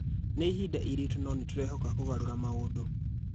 Nĩ ihinda ĩritũ no nĩ tũrehoka kũgarũra maũndu.